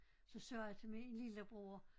Så sagde jeg til min lillebror